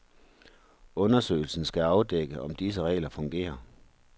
Undersøgelsen skal afdække, om disse regler fungerer.